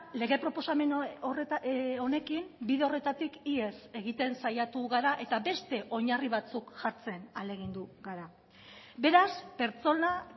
lege proposamen honekin bide horretatik ihes egiten saiatu gara eta beste oinarri batzuk jartzen ahalegindu gara beraz pertsonak